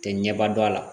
Tɛ ɲɛba dɔ a la